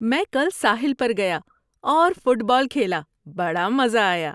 میں کل ساحل پر گیا اور فٹ بال کھیلا۔ بڑا مزہ آیا۔